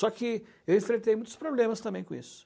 Só que eu enfrentei muitos problemas também com isso.